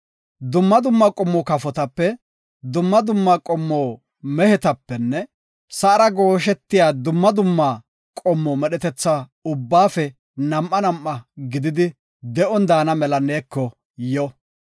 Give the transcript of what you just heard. Dumma dumma qommo kafotape, dumma dumma qommo mehetapenne sa7ara gooshetiya dumma dumma qommo medhetetha ubbaafe nam7a nam7a gididi de7on daana mela neeko yo.